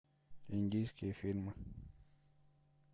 индийские фильмы